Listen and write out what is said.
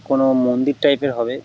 কোন মন্দির টাইপ -এর হবে ।